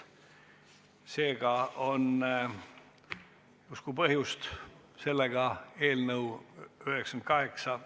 Seega on justkui põhjust eelnõu 8 ...